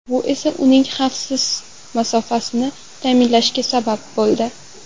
Bu esa uning xavfsiz masofani ta’minlashiga sabab bo‘ldi.